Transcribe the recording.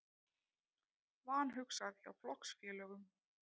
Vanhugsað hjá flokksfélögum